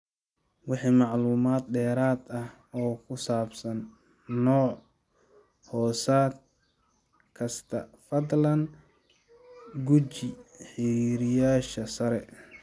Wixii macluumaad dheeraad ah oo ku saabsan nooc-hoosaad kasta, fadlan guji xiriiriyeyaasha sare.